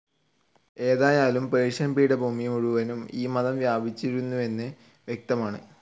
എന്തായാലും പേർഷ്യൻ പീഠഭൂമി മുഴുവനും ഈ മതം വ്യാപിച്ചിരുന്നുവെന്ന് വ്യക്തമാണ്.